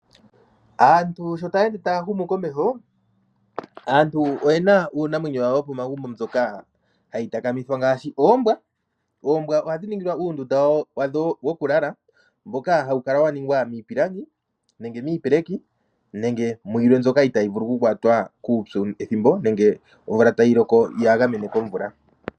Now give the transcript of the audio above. Aantu sho taa ende taa humu komeho, aantu oyena uunamwenyo wawo wo pomagumbo mboka hayi takamithwa ngaashi oombwa. Oombwa ohadhi ningilwa uundunda wadho woku lala mboka hawu kala wa ningwa miipilangi, nenge miipeleki nenge muyilwe mbyoka itayi vulu kukwatwa kuupyu ethimbo nenge omvula tayi loko ya gamene komvula.